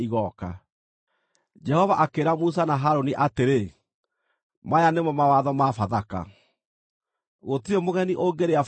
Jehova akĩĩra Musa na Harũni atĩrĩ, “Maya nĩmo mawatho ma Bathaka: “Gũtirĩ mũgeni ũngĩrĩa Bathaka ĩyo.